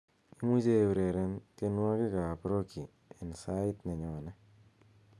imuche eureren tienwogikab roki en sait nenyone